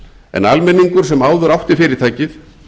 en almenningur sem áður átti fyrirtækið